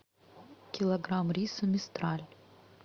килограмм риса мистраль